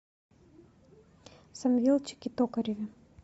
самвелчике токареве